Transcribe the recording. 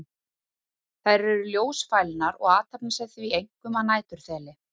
Þær eru ljósfælnar og athafna sig því einkum að næturþeli.